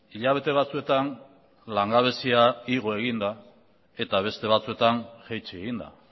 hilabete batzuetan langabezia igo egin da eta beste batzuetan jaitsi egin da